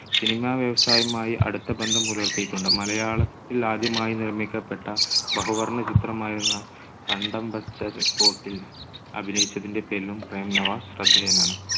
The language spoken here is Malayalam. cinema വ്യവസായവുമായി അടുത്ത ബന്ധം പുലർത്തിയിട്ടുണ്ട്. മലയാളത്തിൽ ആദ്യമായി നിർമ്മിക്കപ്പെട്ട ബഹുവർണ്ണ ചിത്രമായിരുന്ന കണ്ടം ബച്ച കോട്ടിൽ അഭിനയിച്ചതിന്റെ പേരിലും പ്രേം നവാസ് ശ്രദ്ധേയനാണ്.